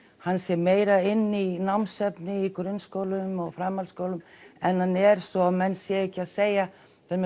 hann sé meira inni í námsefni í grunnskólum og framhaldsskólum en hann er svo menn séu ekki að segja